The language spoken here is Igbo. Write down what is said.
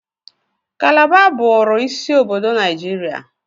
Kalaba bụụrụ isi obodo Naijiria.